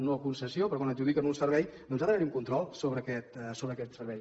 no concessió però quan adjudiquen un servei doncs ha d’haver hi un control sobre aquest servei